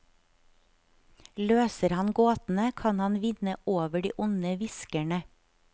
Løser han gåtene, kan han vinne over de onde hviskerne.